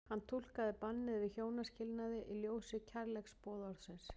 Hann túlkaði bannið við hjónaskilnaði í ljósi kærleiksboðorðsins.